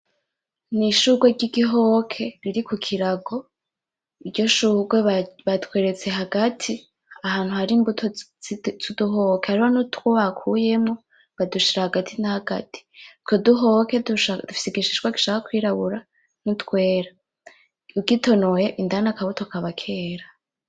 Nishurwe ryigihoke riri kukirago, iryo shurwe batweretse hagati ahantu harimbuto zuduhoke. Hariho nutwo bakuyemmwo badushira hagati na hagati, utwo duhoke dufise igishishwa gishaka nko kwirabura nutwera. Ugitonoye indani akabuto kakaba kera.